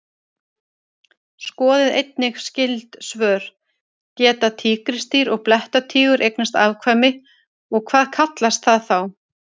Skoðið einnig skyld svör: Geta tígrisdýr og blettatígur eignast afkvæmi og hvað kallast það þá?